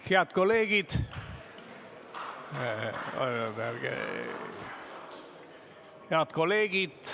Head kolleegid!